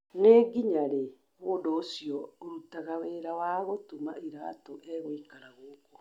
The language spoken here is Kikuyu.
Nĩ nginya rĩ mũndũ ũcio ũrutaga wĩra wa gũtuma iratũ egũikara gũkũ?